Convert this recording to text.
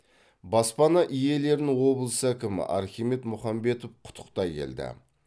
баспана иелерін облыс әкімі архимед мұхамбетов құттықтай келді